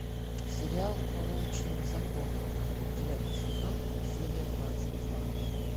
сериал по волчьим законам девятый сезон серия двадцать два